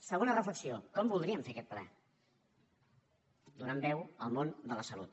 segona reflexió com voldríem fer aquest ple donant veu al món de la salut